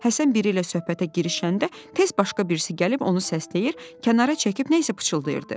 Həsən biri ilə söhbətə girişəndə tez başqa birisi gəlib onu səsləyir, kənara çəkib nəsə pıçıldayırdı.